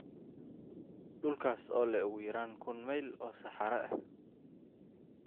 dhulkaas oo leh ugu yaraan kun mayl oo saxare ah